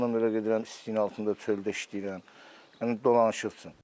Ondan hələ gedirəm istinin altında çöldə işləyirəm, dolanışıq üçün.